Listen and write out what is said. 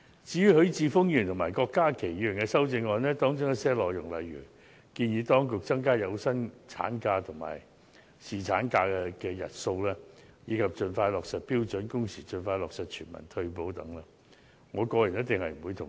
至於許智峯議員和郭家麒議員的修正案，當中一些內容，例如建議當局增加有薪產假及侍產假的日數，以及盡快落實標準工時、盡快落實全民退休保障等，我個人一定不會同意。